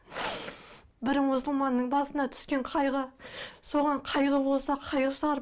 бір мұсылманның басына түскен қайғы соған қайғы болса қайғы шығар